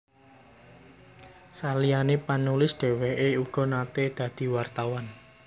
Saliyané penulis dhèwèké uga naté dadi wartawan